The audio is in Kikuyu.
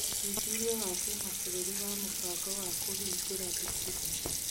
ũthuthuria wa kĩmabũrũri wa mĩbango wa kũhingũra thukuru.